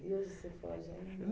E hoje você pode?